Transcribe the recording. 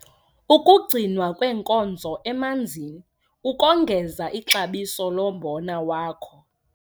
UKUGCINWA KWEENKOZOEMANZINI ukongeza ixabiso lombona wakho